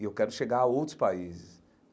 E eu quero chegar a outros países.